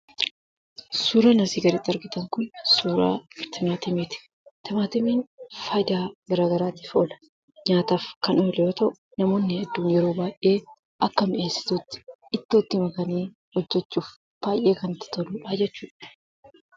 Suuraan asii gaditti argitan kun suuraa timaatimiiti. Timaamiin faayidaa garaa garaatiif oola. Nyaataaf kan yoo ta'u, namoonni hedduun yeroo baay'ee akka miny'eessituutti ittoo itti makanii hojjechuuf baay'ee kan itti toludha jechuudha.